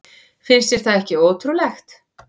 Finnst þér það ekki ótrúlegt?